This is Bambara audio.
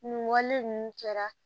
Nin wale ninnu kɛra